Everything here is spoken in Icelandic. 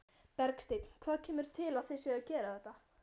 Bergsteinn, hvað kemur til að þið séuð að gera þetta?